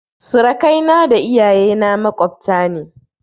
Surakai na da iyaye na maƙwabta ne